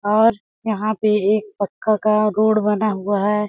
और यहां पे एक पक्का का रोड बना हुआ है।